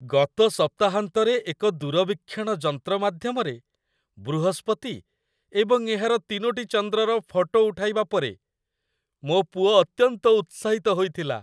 ଗତ ସପ୍ତାହାନ୍ତରେ ଏକ ଦୂରବୀକ୍ଷଣ ଯନ୍ତ୍ର ମାଧ୍ୟମରେ ବୃହସ୍ପତି ଏବଂ ଏହାର ତିନୋଟି ଚନ୍ଦ୍ରର ଫଟୋ ଉଠାଇବା ପରେ ମୋ ପୁଅ ଅତ୍ୟନ୍ତ ଉତ୍ସାହିତ ହୋଇଥିଲା।